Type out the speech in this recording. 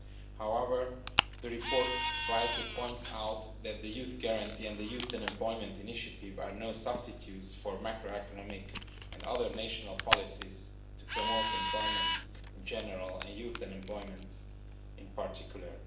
However, the report rightly points out that the Youth Guarantee and the Youth Employment Initiative are no substitutes for macroeconomic and other national policies to promote employment in general and youth employment in particular.